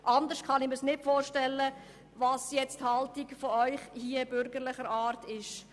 Anders kann ich mir die Haltung der Bürgerlichen nicht erklären.